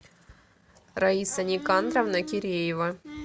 раиса никандровна киреева